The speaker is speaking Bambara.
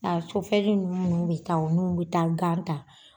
A bɛ taa o n'u bɛ taa gan ta.